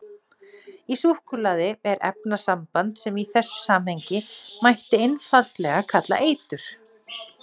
Í súkkulaði er efnasamband sem í þessu samhengi mætti einfaldlega kalla eitur.